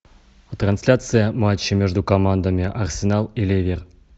трансляция матча между командами арсенал и ливер